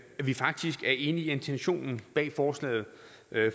vi faktisk er enige i intentionen bag forslaget